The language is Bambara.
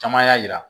Caman y'a jira